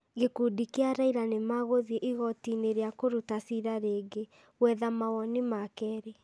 Gĩkundi kĩa Raila nĩ magũthiĩ igoti-inĩ rĩa kũruta ciira rĩngĩ, gwetha mawoni ma keerĩ,